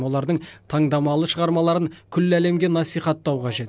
олардың таңдамалы шығармаларын күллі әлемге насихаттау қажет